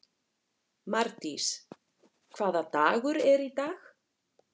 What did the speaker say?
Mardís, hvaða dagur er í dag?